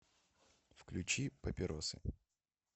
включи папиросы